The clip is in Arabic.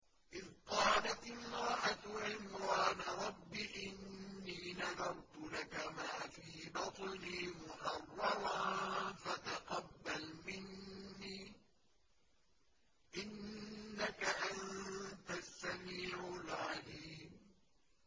إِذْ قَالَتِ امْرَأَتُ عِمْرَانَ رَبِّ إِنِّي نَذَرْتُ لَكَ مَا فِي بَطْنِي مُحَرَّرًا فَتَقَبَّلْ مِنِّي ۖ إِنَّكَ أَنتَ السَّمِيعُ الْعَلِيمُ